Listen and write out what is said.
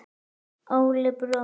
Óli bróðir.